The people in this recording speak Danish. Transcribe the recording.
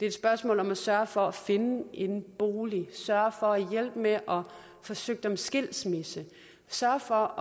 et spørgsmål om at sørge for at finde en bolig sørge for at hjælpe med at få søgt om skilsmisse sørge for